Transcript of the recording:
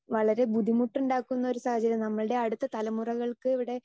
speaker 2 വളരെ ബുദ്ധിമുട്ടുണ്ടാക്കുന്ന ഒരു സാഹചര്യം നമ്മുടെ അടുത്ത തലമുറകൾക്ക് ഇവിടെ